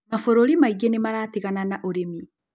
Mabũrũri mangĩ nĩ maratigana na ũrĩmi